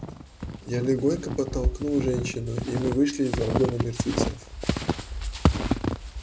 я легонько подтолкнул женщину и мы вышли из вагона мертвецов